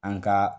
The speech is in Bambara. An ka